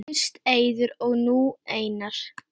Fyrst Eiður og nú Einar??